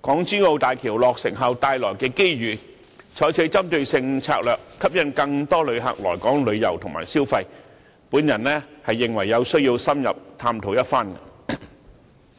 港珠澳大橋落成後帶來的機遇，採取針對性策略吸引更多旅客來港旅遊和消費，我認為有需要深入探討一番。